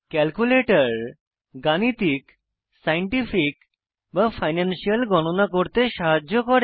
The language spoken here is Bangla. ক্যালকুলেটর গাণিতিক সাইন্টিফিক বা ফাইনান্সিয়াল গণনা করতে সাহায্য করে